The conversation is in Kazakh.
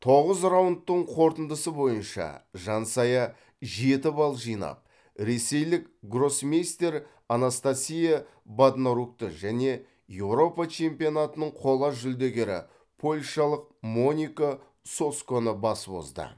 тоғыз раундтың қорытындысы бойынша жансая жеті балл жинап ресейлік гроссмейстер анастасия боднарукті және еуропа чемпионатының қола жүлдегері польшалық моника соцконы басып озды